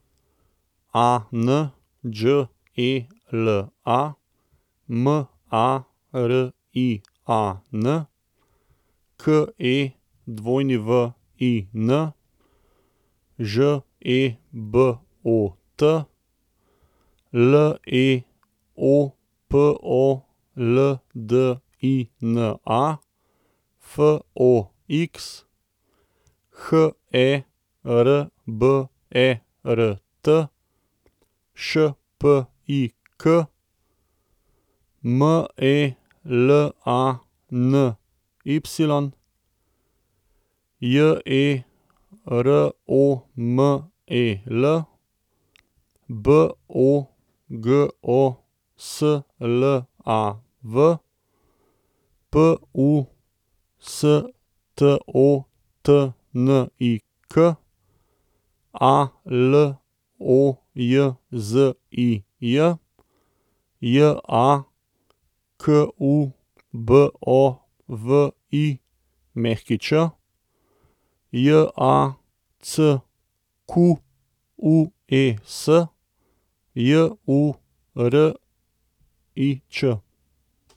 Anđela Marian, Kewin Žebot, Leopoldina Fox, Herbert Špik, Melany Jeromel, Bogoslav Pustotnik, Alojzij Jakubović, Jacques Jurič.